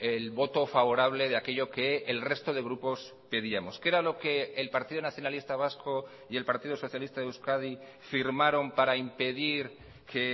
el voto favorable de aquello que el resto de grupos pedíamos qué era lo que el partido nacionalista vasco y el partido socialista de euskadi firmaron para impedir que